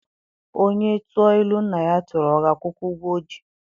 Onye tụọ ilu nna ya tụrụ, ọ ga-akwụkwa ụgwọ o ji?